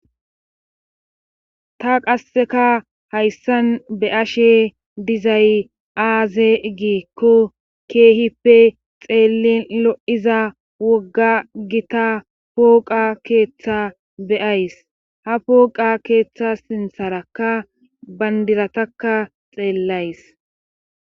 Ta qasseka hayssan be ashe dizay aaze giikko keehippe xeellin lo'iza wogga gita pooqa keeththa beyays ha pooqa keeththa sintharakka bandirataka xeellays.